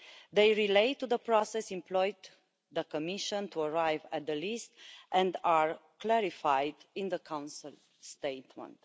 They relate to the process employed by the Commission to arrive at the list and are clarified in the Council statement.